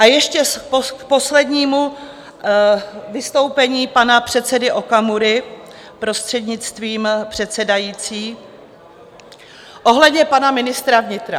A ještě k poslednímu vystoupení pana předsedy Okamury, prostřednictvím předsedající, ohledně pana ministra vnitra.